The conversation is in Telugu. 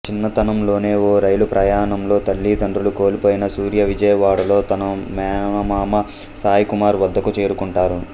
చిన్నతనంలోనే ఓ రైలు ప్రయాణంలో తల్లి తండ్రులను కోల్పోయిన సూర్య విజయవాడలో తన మేనమామ సాయి కుమార్ వద్దకు చేరుకుంటారు